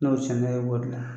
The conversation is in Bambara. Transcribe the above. bɔ o de la.